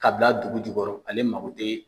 Ka bila dugu jukɔrɔ ale mago tɛ